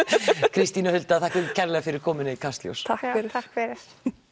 Kristín og Hulda þakka ykkur kærlega fyrir komuna í Kastljós takk fyrir takk fyrir